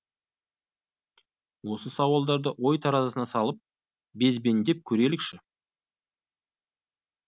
осы бір сауалдарды ой таразысына салып безбендеп көрелікші